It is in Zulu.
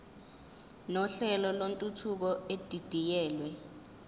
nohlelo lwentuthuko edidiyelwe